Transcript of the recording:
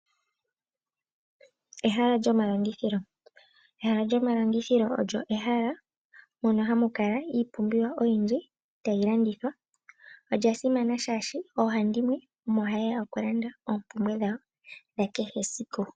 Ehala lyomalandithilo olyo ehala mono hamu kala iipumbiwa oyindji tayi landithwa. Olya simana shaashi oohandimwe ohayeya okulanda oompumbwe dhawo dhakehe esiku.